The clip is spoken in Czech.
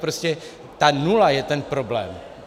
Prostě ta nula je ten problém.